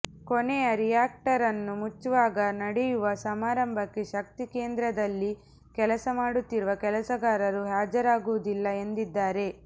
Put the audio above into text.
ಕೊನೆಯ ರಿಯಾಕ್ಟರನ್ನು ಮುಚ್ಚುವಾಗ ನಡೆಯುವ ಸಮಾರಂಭಕ್ಕೆ ಶಕ್ತಿ ಕೇಂದ್ರದಲ್ಲಿ ಕೆಲಸ ಮಾಡುತ್ತಿರುವ ಕೆಲಸಗಾರರು ಹಾಜರಾಗುವುದಿಲ್ಲ ಎಂದಿದ್ದಾರೆ